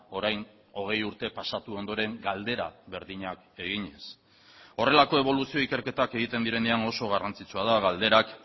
orain hogei urte pasatu ondoren galdera berdinak eginez horrelako eboluzio ikerketak egiten direnean oso garrantzitsua da galderak